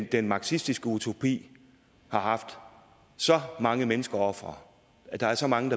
den marxistiske utopi har haft så mange menneskeofre der er så mange